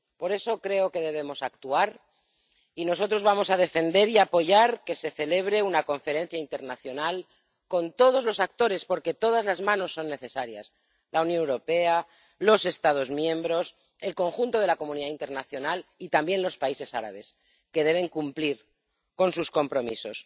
Por eso creo que debemos actuar y nosotros vamos a defender y apoyar que se celebre una conferencia internacional con todos los actores, porque todas las manos son necesarias la Unión Europea, los Estados miembros, el conjunto de la comunidad internacional y también los países árabes, que deben cumplir con sus compromisos.